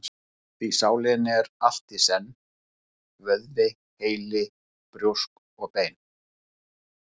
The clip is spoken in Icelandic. Því sálin er allt í senn: vöðvi, heili, brjósk og bein.